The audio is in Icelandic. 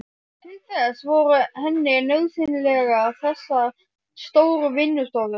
Til þess voru henni nauðsynlegar þessar stóru vinnustofur.